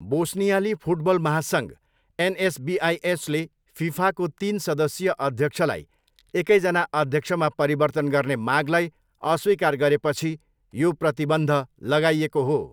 बोस्नियाली football महासङ्घ, एनएसबिआईएचले फिफाको तिन सदस्यीय अध्यक्षलाई एकैजना अध्यक्षमा परिवर्तन गर्ने मागलाई अस्वीकार गरेपछि यो प्रतिबन्ध लगाइएको हो।